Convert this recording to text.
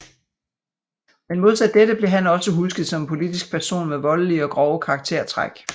Men modsat dette blev han også husket som en politisk person med voldelige og grove karaktertræk